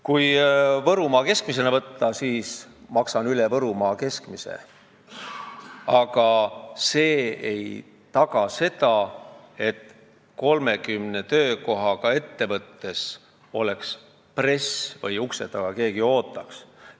Kui võtta Võrumaa keskmine palk, siis maksan üle selle, aga see ei taga seda, et 30 töökohaga ettevõttes oleks press või keegi ukse taga ootaks.